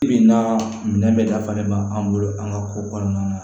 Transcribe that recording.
Bi bi in na minɛn bɛ dafalen bɛ an bolo an ka ko kɔnɔna na